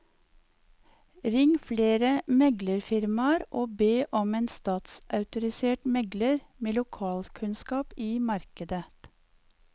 Ring flere meglerfirmaer og be om en statsautorisert megler med lokalkunnskap i markedet.